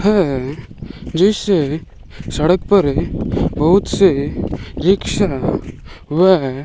है जिस सड़क पर बहुत से रिक्शा व--